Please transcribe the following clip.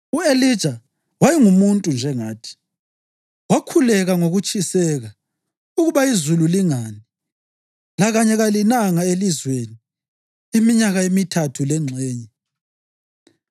U-Elija wayengumuntu njengathi. Wakhuleka ngokutshiseka ukuba izulu lingani, lakanye kalinanga elizweni iminyaka emithathu lengxenye.